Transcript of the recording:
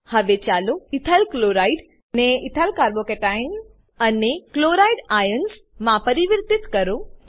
હવે ચાલો બીજા ઇથાઇલક્લોરાઇડ ને ઇથાઇલ carbo કેશન અને ક્લોરાઇડ આઇઓએનએસ માં પરિવર્તિત કરો